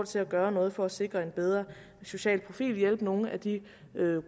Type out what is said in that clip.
til at gøre noget for at sikre en bedre social profil og hjælpe nogle af de